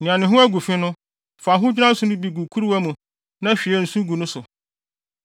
“Nea ne ho agu fi no, fa ahodwira nsõ no bi gu kuruwa mu na hwie nsu gu so.